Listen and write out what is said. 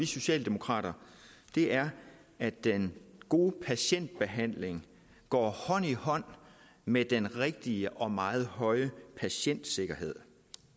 socialdemokrater er at den gode patientbehandling går hånd i hånd med den rigtige og meget høje patientsikkerhed